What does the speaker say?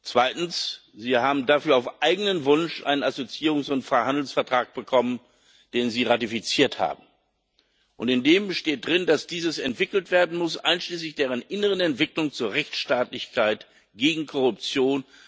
Zweitens Sie haben dafür auf eigenen Wunsch einen Assoziierungs und Freihandelsvertrag bekommen, den sie ratifiziert haben, und darin steht, dass dies entwickelt werden muss, einschließlich der inneren Entwicklung zur Rechtsstaatlichkeit gegen Korruption.